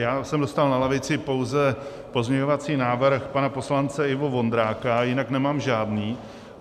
Já jsem dostal na lavici pouze pozměňovací návrh pana poslance Ivo Vondráka, jinak nemám žádný.